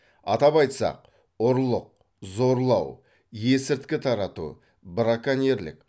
атап айтсақ ұрлық зорлау есірткі тарату браконьерлік